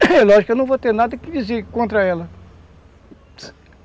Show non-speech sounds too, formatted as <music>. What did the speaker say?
<coughs> Lógico que eu não vou ter nada que dizer contra ela.